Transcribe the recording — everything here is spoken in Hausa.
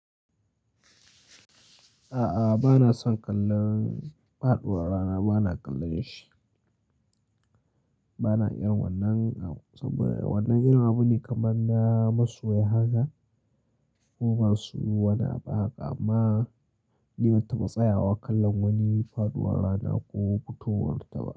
A'a, bana son kallon faɗuwar rana, bana kallon shi. Bana irin wannan, saboda wannan irin abu ne kamar na masoya haka ko masu wani abu haka amma ni ban taba tsayawa kallon wani faɗuwar rana ko fitowar ta ba.